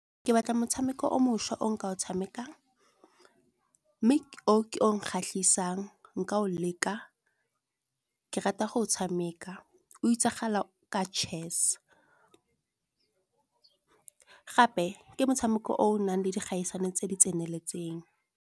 Ke batla motshameko o mošwa o nka o tshamekang, mme o ke o kgatlhisang nka o leka. Ke rata go o tshameka o itsagala ka chess, gape ke motshameko o o nang le dikgaisano tse di tseneletseng.